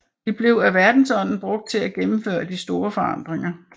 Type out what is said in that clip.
De blev af verdensånden brugt til at gennemføre de store forandringer